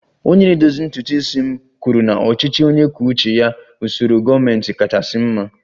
Onye na-edozi ntutu isi m kwuru na ọchịchị onye kwuo uche ya bụ usoro gọọmentị kachasị mma